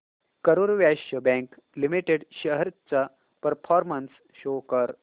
Karur Vysya bank limited shares चा performance show कर